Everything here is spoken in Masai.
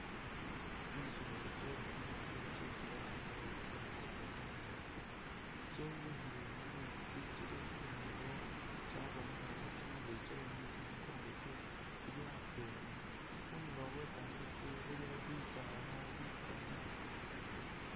Kyimisolo kye mumetsi kyesi balanga bari kyi hippopotamus kyenyukhile mumetsi kyili khundulo kyabonekhelekho kyimirwe kyayo ni mikongo kyayo kyili atwela khundulo khwe kametsi khulikho bisaala bikali.